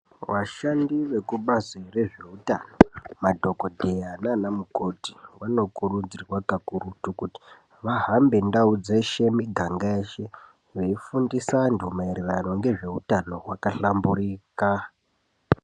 Vashandi vekubazi rezveutano madhogodheya nanamukoti vanokurudzirwa kakurutu kuti vahambe ndau dzese miganga yeshe veifundisa vanhu maererano ngezveutano hwakahlamburuka.